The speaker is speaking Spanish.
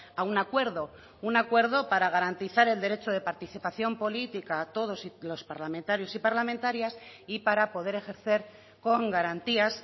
a un acuerdo un acuerdo para garantizar el derecho de participación política todos los parlamentarios y parlamentarias y para poder ejercer con garantías